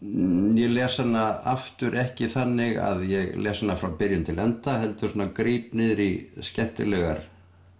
ég les hana aftur ekki þannig að ég lesi frá byrjun til enda heldur svona gríp niður í skemmtilegar